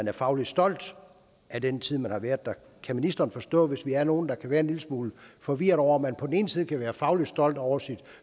er fagligt stolt af den tid hun har været der kan ministeren forstå hvis vi er nogle der kan være en lille smule forvirrede over at man på den ene side kan være fagligt stolt over sit